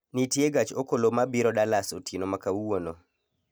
Nitie gach okolo mabiro Dallas otieno ma kawuono